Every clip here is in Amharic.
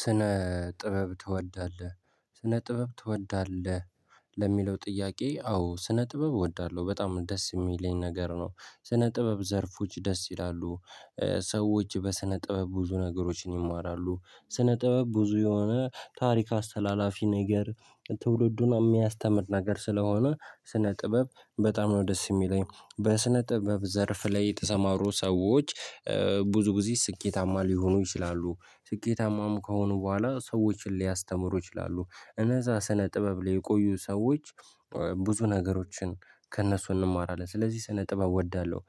ስነ ጥበብ ትወዳለህ ስነ ጥበብ ትወዳለህ? ለሚለው ጥያቄ አዎ ስነ ጥበብ እወዳለሁ በጣም ደስ የሚለኝ ነገር ነው። ስነ ጥበብ ዘርፎች ደስ ይላሉ። ሰዎች በስነ ጥበብ ብዙ ነገሮችን ይማራሉ። ስነ ጥበብ ብዙ የሆነ ታሪክ አስተላላፊ ነገር ትውልዱን የሚያስተምር ነገር ስለሆነ። ስነ ጥበብ በጣም ነው ደስ የሚለኝ። በስነ ጥበብ ዘርፍ ላይ የተሰማሩ ሰዎች። ብዙ ጊዜ ስኬታማ ሊሆኑ ይችላሉ ስኬታማም ከሆኑ በኋላ ሰዎችን ሊያስተምሩ ይችላሉ። እነዛ ስነ ጥበብ ላይ የቆዩ ሰዎች። ብዙ ነገሮችን ከእነሱ እንማራለን ስለዚህ ስነ ጥበብ እወዳለሁ።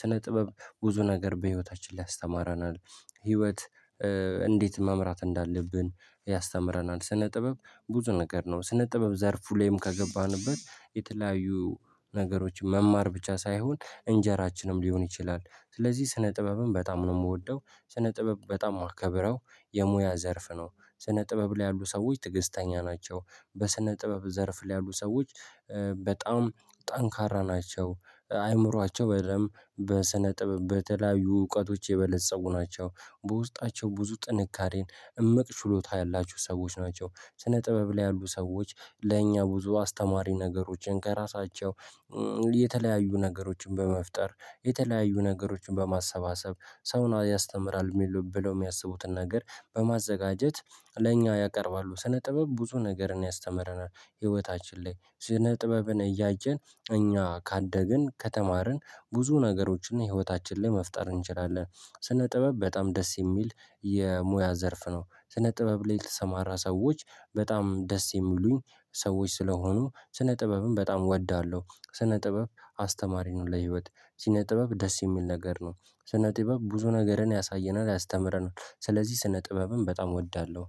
ስነ ጥበብ ብዙ ነገር በህይወታችን ላይ ያስተምረናል። ህይወት እንዴት መምራት እንዳለብን ያስተምረናል። ስነ ጥበብ ብዙ ነገር ነው ስነ ጥበብ ዘርፉ ላይም ከገባንበት። የተለያዩ ነገሮች መማር ብቻ ሳይሆን እንጀራችንም ሊሆን ይችላል። ስለዚህ ስነ ጥበብም በጣም ነው የምወደው። ስነ ጥበብ በጣም ማከብረው የሙያ ዘርፍ ነው። ስነ ጥበብ ላይ ያሉ ሰዎች ትግስተኛ ናቸው። በስነ ጥበብ ዘርፍ ላይ ያሉ ሰዎች በጣም ጠንካራ ናቸው። አእምሮአቸው በደንብ በስነ ጥበብ በተለያዩ እውቀቶች የበለፀጉ ናቸው። በውስጣቸው ብዙ ጥንካሬን እምቅ ሽሎታ ያላችሁ ሰዎች ናቸው። ስነ ጥበብ ላይ ያሉ ሰዎች ለእኛ ብዙ አስተማሪ ነገሮችን ከራሳቸው። የተለያዩ ነገሮችን በመፍጠር የተለያዩ ነገሮችን በማሰባሰብ ሰውን ያስተምራል ብለው ሚያስቡትን ነገር በማዘጋጀት ለኛ ያቀርባሉ። ስነ ጥበብ ብዙ ነገርን ያስተምረናል። ህይወታችን ላይ ስነ ጥበብን እያየን እኛ ካደግን ከተማርን ብዙ ነገሮችን ህይወታችን ላይ መፍጠር እንችላለን። ስነ ጥበብ በጣም ደስ ሚል የሙያ ዘርፍ ነው። ስነ ጥበብ ላይ የተሰማራ ሰዎች በጣም ደስ የሚሉኝ ሰዎች ስለሆኑ ስነ ጥበብም በጣም እወዳለሁ። ስነ ጥበብ አስተማሪ ነው። ለህይወት ስነ ጥበብ ደስ የሚል ነገር ነው። ስነ ጥበብ ብዙ ነገርን ያሳየናል ያስተምረናል ስለዚህ ስነ ጥበብም በጣም እወዳለሁ